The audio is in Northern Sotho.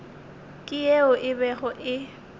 ke yeo e bego e